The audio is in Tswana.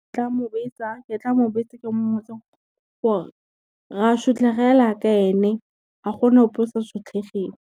Ke tla mo bitsa ke mmotse gore, ra sotlega fela ja ka ene, ga gona ope o sa sotlegeng.